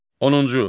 Onuncu.